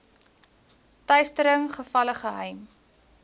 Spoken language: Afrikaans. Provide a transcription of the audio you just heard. teistering gevalle geheim